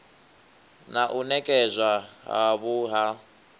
na u nekedzwa havhui ha